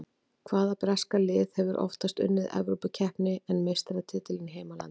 Hvaða breska lið hefur oftar unnið Evrópukeppni en meistaratitilinn í heimalandinu?